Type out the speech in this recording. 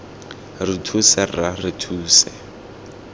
re thuse rra re thuse